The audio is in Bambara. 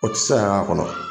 O tɛ se ka k'a kɔnɔ.